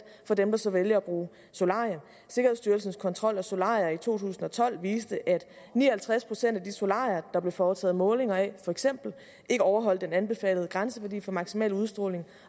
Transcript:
for dem der så vælger at bruge solarium sikkerhedsstyrelsens kontrol af solarier i to tusind og tolv viste at ni og halvtreds procent af de solarier der blev foretaget målinger af for eksempel ikke overholdt den anbefalede grænseværdi for maksimal udstråling